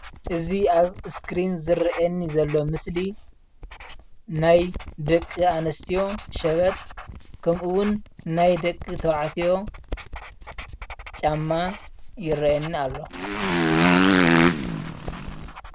እዚ ኣብ እስክሪን ዝረአየኒ ዘሎ ምስሊ ናይ ደቂ ኣንስትዮ ሸበጥ ከምኡውን ናይ ደቂ ተባዕትዮ ጫማ ይረአየኒ ኣሎ፡፡